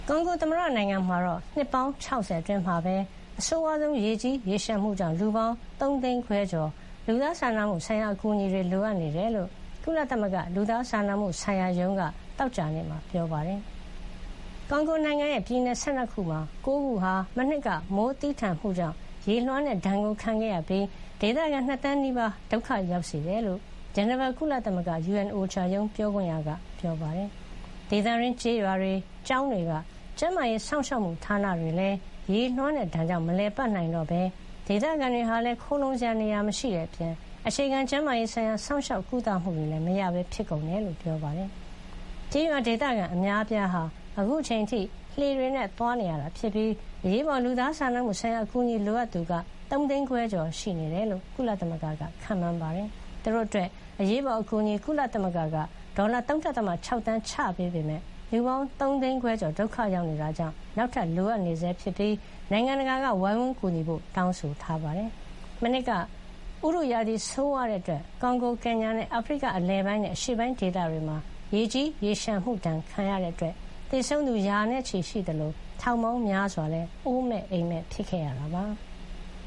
ကွန်ဂို သမ္မတနိုင်ငံမှာ နှစ်ပေါင်း ၆၀ အတွင်း အဆိုးဝါးဆုံး ရေကြီးရေလျှံမှုကြောင့် လူပေါင်း ၃ သိန်းခွဲကျော် လူသားစာနာမှုအကူညီ လိုအပ်နေတယ်လို့ ကုလသမဂ္ဂ လူသားစာနာမှုဆိုင်ရာ ရုံးက သောကြာနေ့မှာ ပြောပါတယ်။ ကွန်ဂိုနိုင်ငံရဲ့ ပြည်နယ် ၁၂ ခုမှာ ၉ ခုဟာ မနှစ်က မိုးသည်းထန်မှုကြောင့် ရေလွှမ်းတဲ့ ဒဏ်ခံခဲ့ရပြီး ဒေသခံ ၂ သန်း နီးပါးကို ဒုက္ခရောက်စေတယ်လို့ ဂျနီဗာ ကုလသမဂ္ဂ UN – OCHA ရုံး ပြောခွင့်ရက ပြောပါတယ်။ ဒေသတွင်း ကျေးရွာတွေ၊ ကျောင်းတွေက ကျန်းမာရေး စောင့်ရှောက်မှု ဌာနတွေလည်း ရေလွှမ်းတဲ့ ဒဏ်ကြောင့် မလည်ပတ်နိုင်တော့ပဲ ဒေသခံတွေဟာလည်း ခိုလှုံစရာနေရာ မရှိတဲ့အပြင် အခြေခံ ကျန်းမာရေး ဆိုင်ရာ စောင့်ရှောက်ကုသမှုတွလည်း မရပဲ ဖြစ်ကုန်တယ် လို့ ပြောပါတယ်။ ကျေးရွာဒေသခံ အများအပြားဟာ အခုချိန်အထိ လှေတွေနဲ့ သွားလာနေရတာ ဖြစ်ပြီး အရေးပေါ် လူသားစာနာမှု အကူညီ လိုအပ်သူက ၃ သိန်းခွဲ ကျော်ရှိနေတယ်လို့ ကုလသမဂ္ဂက ခန့်မှန်းပါတယ်။ သူတို့အတွက် အရေးပေါ် အကူအညီအဖြစ် ကုလသမဂ္ဂက ဒေါ်လာ ၃.၆ သန်း ချထားပေးခဲ့ပေမယ့် လူပေါင်း ၃ သိန်းခွဲကျော် ဒုက္ခရောက်နေတာကြောင့် နောက်ထပ် လိုအပ်နေဆဲဖြစ်ပြီး နိုင်ငံတကာက ပံ့ပိုးကူညီကြဖို့လည်း တောင်းဆိုထားပါတယ်။ မနှစ်က ရာသီဥတု ဆိုးဝါးခဲ့တာကြောင့် ကွန်ဂို၊ ကင်ညာနဲ့ အာဖရိက အလယ်ပိုင်းနဲ့ အရှေ့ပိုင်း ဒေသတွေမှာ ရေကြီး ရေလျှံမှု ဒဏ်ခံခဲ့ရတဲ့ အတွက် သေဆုံးရသူ ရာနဲ့ချီ ရှိနေသလို ထောင်ပေါင်းများစွာလည်း အိုးမဲ့အိမ်မဲ့ ဖြစ်ခဲ့ရတာပါ။